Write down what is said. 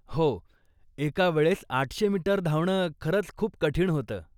हो, एकावेळेस आठशे मीटर धावणं खरंच खूप कठीण होतं.